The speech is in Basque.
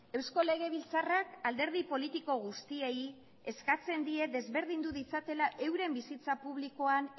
eusko legebiltzarrak alderdi politiko guztiei eskatzen die desberdindu ditzatela euren bizitza publikoan